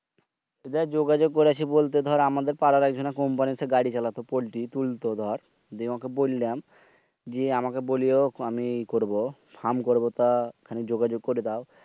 দেখ যোগাযোগ করেছি বলতে দর আমাদের পারার একজনে Company এর সাথে গাড়ি চালাতো। পল্টি তুলত দর যে ওকে বইলাম যে আমাকে বলিও আমি করবো। ফার্ম করবো তা খানিক যোগাযোগ করে দাও।